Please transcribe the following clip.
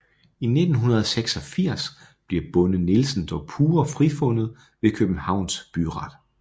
I 1986 bliver Bonde Nielsen dog pure frifundet ved Københavns Byret